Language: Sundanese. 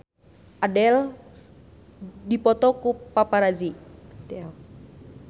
Adele dipoto ku paparazi